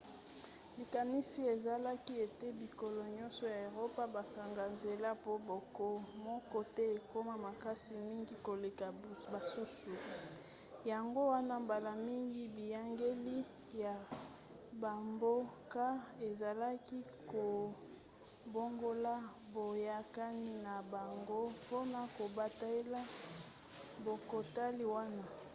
likanisi ezalaki ete bikolo nyonso ya eropa bakanga nzela po mboka moko te ekoma makasi mingi koleka basusu yango wana mbala mingi biyangeli ya bamboka ezalaki kobongola boyakani na bango mpona kobatela bokatikati wana